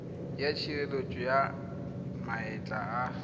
ya tshireletso ya maetla a